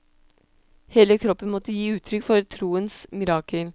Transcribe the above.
Hele kroppen måtte gi uttrykk for troens mirakel.